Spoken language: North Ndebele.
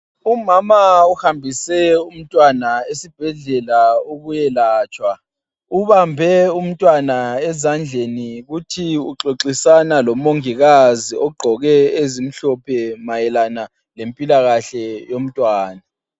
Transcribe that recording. Umama uhambise umtwana esibhedlela ukuyelatshwa. Ubambe umntwana ezandleni kuthi uxoxisana lomongikazi ogqoke ezimhlophe mayelana lempilakahle yomntwana.